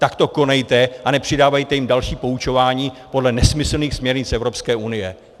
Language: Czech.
Tak to konejte a nepřidávejte jim další poučování podle nesmyslných směrnic Evropské unie.